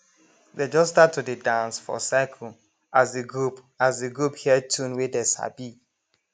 dey just start to dey dance for circle as de group as de group hear tune wey dey sabi